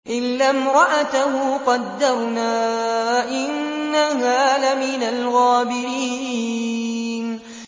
إِلَّا امْرَأَتَهُ قَدَّرْنَا ۙ إِنَّهَا لَمِنَ الْغَابِرِينَ